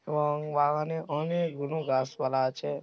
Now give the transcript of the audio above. অং বাগানে অনেক গুলো গাছ পালা আছে।